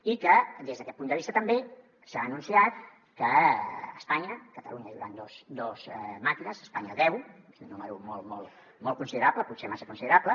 i des d’aquest punt de vista també s’ha anunciat que a catalunya hi hauran dos màquines a espanya deu és un nombre molt considerable potser massa considerable